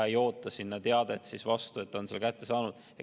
Ei oodata teadet vastu, et teade on kätte saadud.